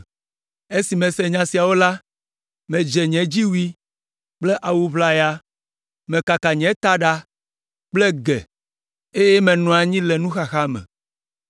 Esi mese nya siawo la, medze nye dziwui kple nye awu ʋlaya, mekaka nye taɖa kple ge eye menɔ anyi le nuxaxa me.